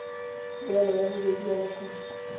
tuelo ya bobedi ya lekgetho